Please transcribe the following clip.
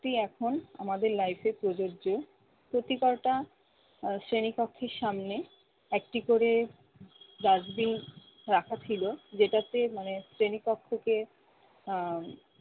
এটি এখন আমাদের life এ প্রযোজ্য। প্রতি ক'টা আহ শ্রেণীকক্ষের সামনে একটি করে dustbin রাখা ছিল যেটাতে মানে শ্রেণিকক্ষকে আহ